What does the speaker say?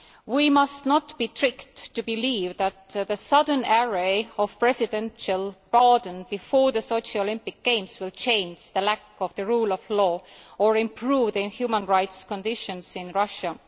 We must not be tricked into believing that the sudden array of presidential pardons before the Sochi Olympic Games will change the lack of the rule of law or improve the human rights conditions in Russia.